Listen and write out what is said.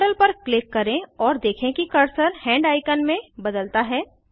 model पर click करें और देखें कि कर्सर हैंड आइकन में बदलता है